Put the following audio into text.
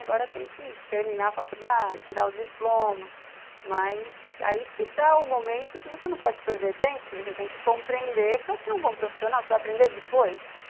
Agora tem que terminar a faculdade, tirar o diploma, mas aí que está o momento que você não pode perder tempo, que você tem que compreender para ser um bom profissional, você vai aprender depois.